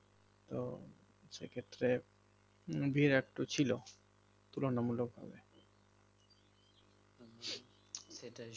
তো সেক্ষেত্রে ভিড় একটু ছিল তুলনামূলক